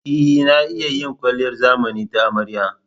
E, na iya yin kwalliyar zamani ta amarya.